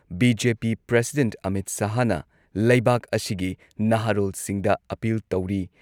BJP president Amit ꯁꯍꯥꯍꯅ ꯂꯩꯕꯥꯛ ꯑꯁꯤꯒꯤ ꯅꯍꯥꯔꯣꯜꯁꯤꯡꯗ ꯑꯄꯤꯜ ꯇꯧꯔꯤ